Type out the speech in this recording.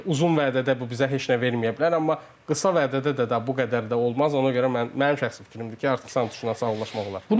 Uzun vədədə bu bizə heç nə verməyə bilər, amma qısa vədədə də bu qədər də olmaz, ona görə mən mənim şəxsi fikrimdir ki, artıq Santuşla sağlaşmaq olar.